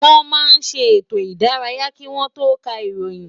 Wọ́n máa ń ṣe ètò ìdárayá kí wọ́n tó ká ìròyìn